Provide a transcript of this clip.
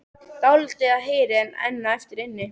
Dálítið af heyi er enn eftir inni.